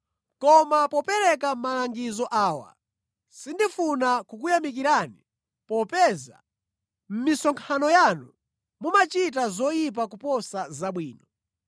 Koma popereka malangizo awa sindikufuna kukuyamikirani popeza mʼmisonkhano yanu mumachita zoyipa kuposa zabwino.